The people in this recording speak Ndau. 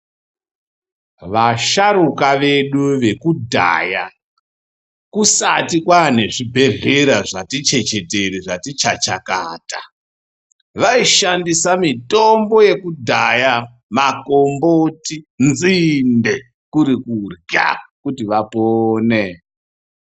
Vasharuka vedu vekudhaya kusati kwane zvi bhedhlera zvati chechetere zvati chachakata vaishandisa mitombo yekudhaya makomboti ne nzinde kuri kurya kuti vapone.